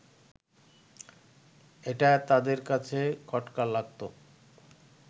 এটা তাদের কাছে খটকা লাগত